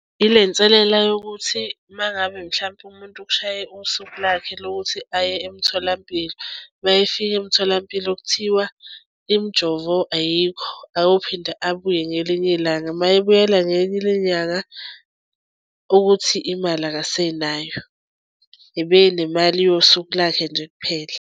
Ile nselela yokuthi uma ngabe mhlampe umuntu kushaye usuku lakhe lokuthi aye emtholampilo uma efika emtholampilo kuthiwa imijovo ayikho akophinde abuye ngelinye ilanga. Uma ebuyela ukuthi imali akasenayo ebenemali yosuku lakhe nje kuphela.